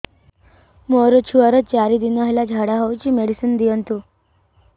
ମୋର ଛୁଆର ଚାରି ଦିନ ହେଲା ଝାଡା ହଉଚି ମେଡିସିନ ଦିଅନ୍ତୁ